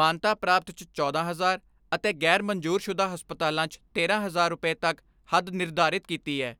ਮਾਨਤਾ ਪ੍ਰਾਪਤ 'ਚ ਚੌਦਾਂ ਹਜ਼ਾਰ ਅਤੇ ਗ਼ੈਰ ਮਨਜ਼ੂਰਸ਼ੁਦਾ ਹਸਪਤਾਲਾਂ 'ਚ ਤੇਰਾਂ ਹਜ਼ਾਰ ਰੁਪੈ ਤੱਕ ਹੱਦ ਨਿਰਧਾਰਿਤ ਕੀਤੀ ਐ।